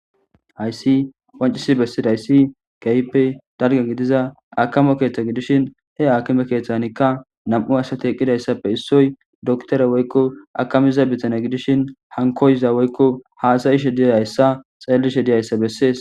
hayssi qoncisi bessidayssi gayppe dalge gidiza akamo keeththa gidishin he akime keeththanikka nam7u asati eqqidayssappe issoy doktore woykko akamiza bitane gidishin hankoyza woykko haasayishe diyaayssa xeellishe diyayssa bessees